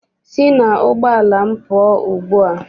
Sị n'ụgbọala m pụọ ugbua!